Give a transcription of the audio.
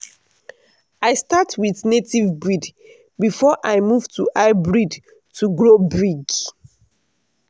i start with native breed before i move to hybrid to grow big.